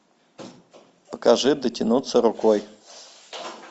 покажи дотянуться рукой